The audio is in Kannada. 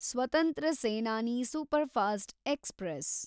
ಸ್ವತಂತ್ರ ಸೇನಾನಿ ಸೂಪರ್‌ಫಾಸ್ಟ್‌ ಎಕ್ಸ್‌ಪ್ರೆಸ್